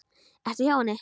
Ertu hjá henni?